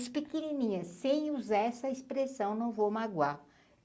Pequininha, sem usar essa expressão, não vou magoar.